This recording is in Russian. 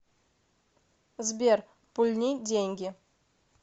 сбер пульни деньги